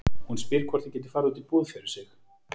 Hún spyr hvort ég geti farið út í búð fyrir sig.